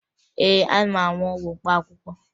Ee, ana m aṅụ ọgwụ mkpaakwụkwọ